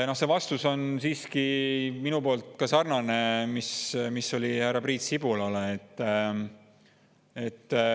Minu vastus on sarnane vastusega, mille ma andsin härra Priit Sibulale.